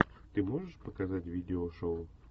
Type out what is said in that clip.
ты можешь показать видео шоу